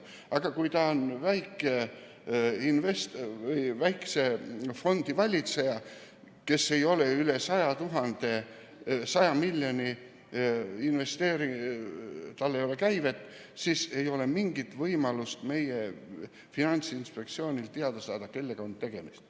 Aga kui ta on väikese fondi valitseja, kellel ei ole üle 100 miljoni euro käivet, siis ei ole mingit võimalust meie Finantsinspektsioonil teada saada, kellega on tegemist.